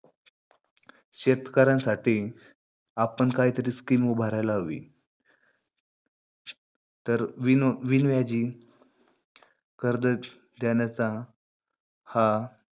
शेतकऱ्यांसाठी आपण कायतरी scheme उभारायला हवी. तर विन बिनव्याजी कर्ज देण्याचा हा